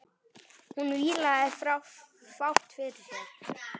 Hún vílaði fátt fyrir sér.